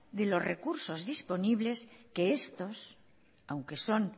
de los recursos disponibles que estos aunque son